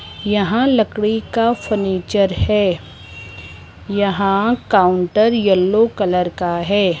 यहां लकड़ी का फर्नीचर है यहां काउंटर येलो कलर का है।